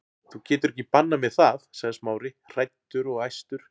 Þú getur ekki bannað mér það- sagði Smári, hræddur og æstur.